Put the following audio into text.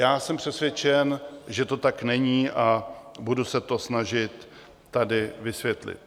Já jsem přesvědčen, že to tak není, a budu se to snažit tady vysvětlit.